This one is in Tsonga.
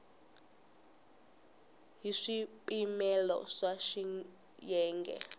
ya hi swipimelo swa xiyenge